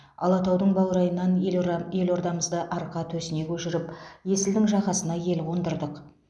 алатаудың баурайынан елұран елордамызды арқа төсіне көшіріп есілдің жағасына ел қондырдық